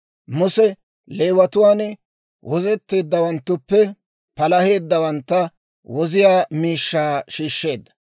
Muse, Leewatuwaan wozetteeddawanttuppe palaheeddawantta woziyaa miishshaa shiishsheedda.